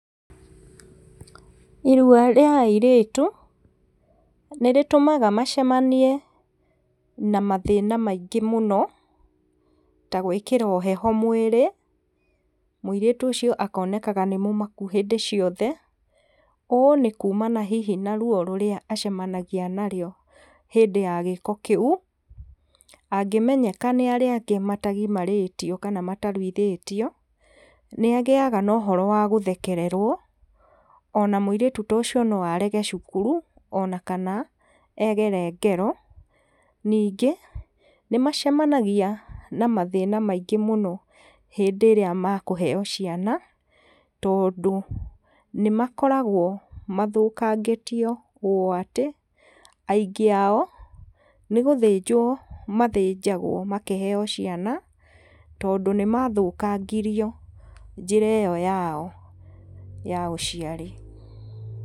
Irua rĩa airĩtu nĩrĩtũmaga macemanie na mathĩna maingĩ mũno, ta gwĩkĩrwo heho mwĩrĩ, mũirĩtu ũcio akonekaga nĩmũmaku hĩndĩ ciothe, ũũ nĩkumana hihi na ruo rũrĩa acemanagia naruo hĩndĩ ya gĩko kĩu, angĩmenyeka nĩ arĩa angĩ matagimarĩtio kana mataruithĩtio, nĩagĩaga na ũhoro wa gũthekererwo, ona mũirĩtu ta ũcio noarege cukuru ona kana egere ngero, ningĩ nĩmacemanagia na mathĩna maingĩ mũno hĩndĩ ĩrĩa mekũheo ciana, tondũ nĩmakoragwo mathũkangĩtio ũũ atĩ aingĩ ao nĩgũthĩnjwo mathĩnjagwo makĩheo ciana, tondũ nĩmathũkangirio njĩra ĩyo yao ya ũciari.